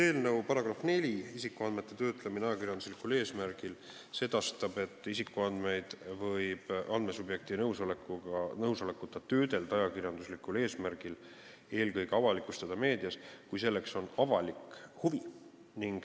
Eelnõu § 4 "Isikuandmete töötlemine ajakirjanduslikul eesmärgil" sedastab, et isikuandmeid võib andmesubjekti nõusolekuta töödelda ajakirjanduslikul eesmärgil, eelkõige avalikustada meedias, kui selleks on avalik huvi.